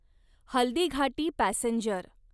Haldighati passenger